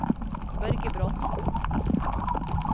Børge Bråten